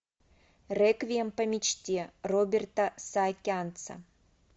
реквием по мечте роберта саакянца